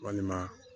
Walima